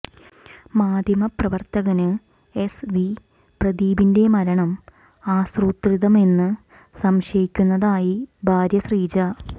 മാധ്യമ പ്രവര്ത്തകന് S V പ്രദീപിന്റെ മരണം ആസൂത്രിതമെന്ന് സംശയിക്കുന്നതായി ഭാര്യ ശ്രീജ